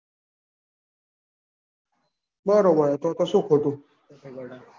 બરોબર તો તો શું ખોટું.